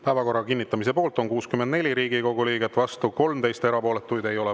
Päevakorra kinnitamise poolt on 64 Riigikogu liiget, vastu 13, erapooletuid ei ole.